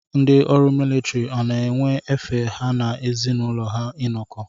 Ndị ọrụ militiri ọ na-enwe efe ha na ezi n'ụlọ ha inọkọ.